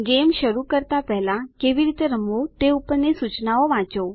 game શરુ કરતા પહેલાં કેવી રીતે રમવું તે ઉપરની સૂચનાઓ વાંચો